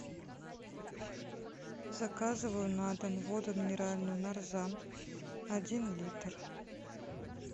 заказываю на дом воду минеральную нарзан один литр